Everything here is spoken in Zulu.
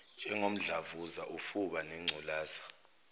njengomdlavuza ufuba nengculaza